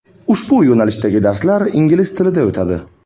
Ushbu yo‘nalishdagi darslar ingliz tilida o‘tadi.